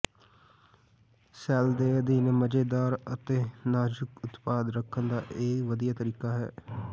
shell ਦੇ ਅਧੀਨ ਮਜ਼ੇਦਾਰ ਅਤੇ ਨਾਜ਼ੁਕ ਉਤਪਾਦ ਰੱਖਣ ਦਾ ਇਹ ਵਧੀਆ ਤਰੀਕਾ ਹੈ